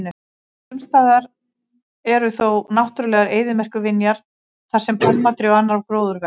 Sumstaðar eru þó náttúrulegar eyðimerkurvinjar þar sem pálmatré og annar gróður vex.